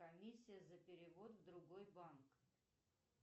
комиссия за перевод в другой банк